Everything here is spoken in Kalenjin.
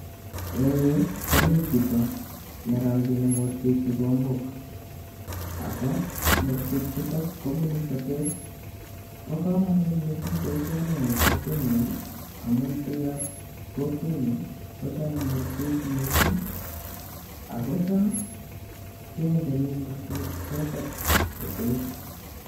En yu komii chito nerokyini mursik kikombok ako mursikchuto kobunu sotet bokomonut missing boisioni en kokwenyun amun biikab kokwenyun kochome mursik missing akocham kendei mursik choto sotet.